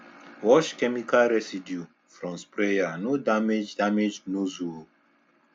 wash chemical residue from sprayer no damage damage nozzle o